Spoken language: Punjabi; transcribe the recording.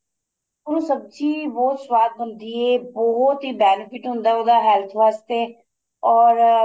ਉਹ ਸਬਜੀ ਬਹੁਤ ਸਵਾਦ ਬਣਦੀ ਏ ਬਹੁਤ ਹੀ benefit ਹੁੰਦਾ ਉਹਦਾ health ਵਾਸਤੇ or